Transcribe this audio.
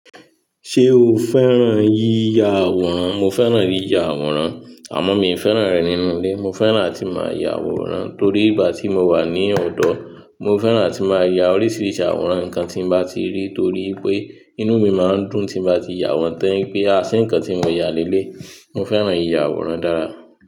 Ṣé o fẹ́ràn yíya àwòrán? Mo fẹ́ràn yíya àwòrán àmọ́ mi ò fẹ́ràn rẹ̀ nínú ilé. Mo fẹ́ràn tí màá ya àwòrán torí ìgbà tí mo wà ní ọ̀dọ̀, mo fẹ́ràn tí màá ya oríṣiríṣi àwòrán nǹkan tí mo bá ti rí torí pé inú mi máa ń dùn tí mo bá ti ya wọn tán pé a ṣé ǹkan tí mo ya lé lé yi. Mo fẹ́ràn yíya àwòrán dára.